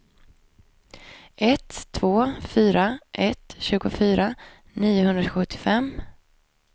ett två fyra ett tjugofyra niohundrasjuttiofem